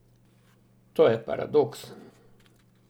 To je paradoks.